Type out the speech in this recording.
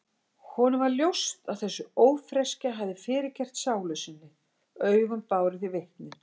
Honum varð ljóst að þessi ófreskja hafði fyrirgert sálu sinni, augun báru því vitni.